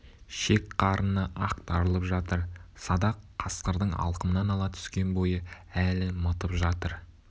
шек-қарыны ақтарылып жатыр садақ қасқырдың алқымынан ала түскен бойы әлі мытып жатыр